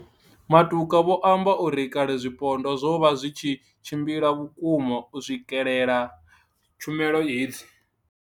Matuka vho amba uri kale zwipondwa zwo vha zwi tshi tshimbila vhukuma u swikelela tshumelo hedzi.